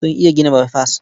Sun iya gina baifas.